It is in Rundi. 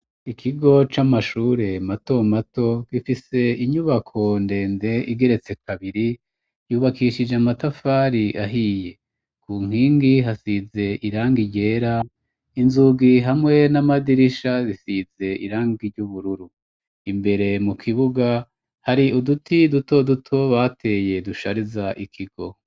Ikigo c'amashure mato mato gifise inyubako ndende igeretse kabiri, yubakishije amatafari ahiye, ku nkingi hasize irangi ryera, inzugi hamwe n'amadirisha zisize irangi ry'ubururu, imbere mu kibuga hari uduti duto duto bateye dushariza ikigo.